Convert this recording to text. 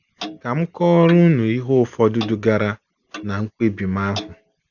Ka m kọọrọ unu ihe ụfọdụ dugara ná mkpebi m ahụ.